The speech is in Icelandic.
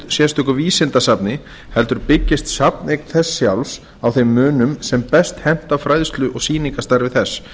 sérstöku vísindasafni heldur byggist safneign þess sjálfs á þeim munum sem best henta fræðslu og sýningarstarfi þess